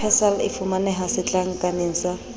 persal e fumaneha setlankaneng sa